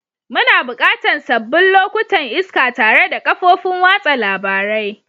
Muna buƙatan sabbin lokutan iska tare da kafofin watsa labarai.